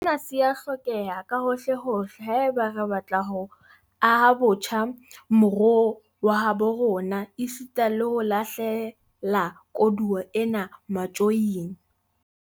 Sena se a hlokeha kahohlehohle haeba re batla ho aha botjha moruo wa habo rona esita le ho lahle la koduwa ena matjoing.